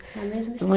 Na mesma